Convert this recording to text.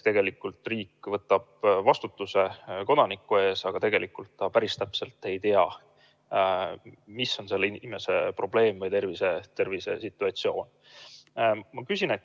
Tegelikult ju riik võtab vastutuse kodaniku eest, aga ta päris täpselt ei tea, milline võib olla konkreetse inimese probleem või terviseseisund.